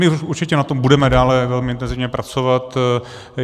My určitě na tom budeme dále velmi intenzivně pracovat.